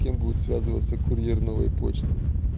кем будет связываться курьер новой почты